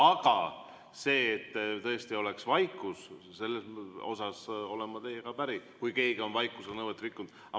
Aga see, et tõesti oleks vaikus, selles osas olen ma teiega päri, kui keegi on vaikusenõuet rikkunud.